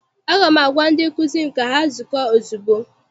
Aga m agwa ndị nkụzi m ka ha zukọọ ozugbo!